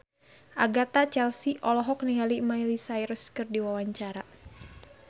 Agatha Chelsea olohok ningali Miley Cyrus keur diwawancara